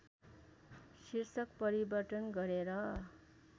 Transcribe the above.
शीर्षक परिवर्तन गरेर